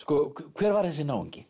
hver var þessi náungi